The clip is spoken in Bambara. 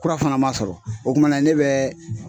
Kura fana ma sɔrɔ , o kumana ne bɛ